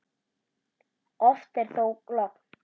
Oft er þó logn.